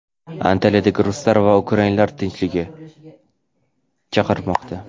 Antaliyadagi ruslar va ukrainlar tinchlikka chaqirmoqda.